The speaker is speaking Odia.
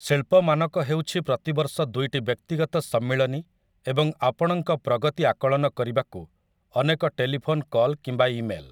ଶିଳ୍ପମାନକ ହେଉଛି ପ୍ରତିବର୍ଷ ଦୁଇଟି ବ୍ୟକ୍ତିଗତ ସମ୍ମିଳନୀ ଏବଂ ଆପଣଙ୍କ ପ୍ରଗତି ଆକଳନ କରିବାକୁ ଅନେକ ଟେଲିଫୋନ୍ କଲ୍ କିମ୍ବା ଇମେଲ୍‌ ।